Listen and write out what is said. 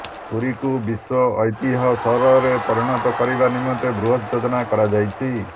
ପୁରୀକୁ ବିଶ୍ୱ ଐତିହ୍ୟ ସହରରେ ପରିଣତ କରିବା ନିମନ୍ତେ ବୃହତ ଯୋଜନା କରାଯାଇଛି